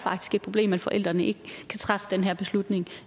et problem at forældrene ikke kan træffe den her beslutning